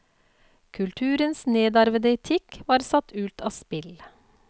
Kulturens nedarvede etikk var satt ut av spill.